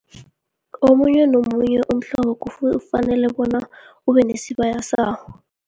Omunye nomunye umhlobo kufanele bona ube nesibaya sawo.